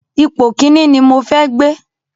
Ipò Kínní ni mo fẹ́ gbé.